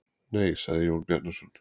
Nei, sagði Jón Bjarnason.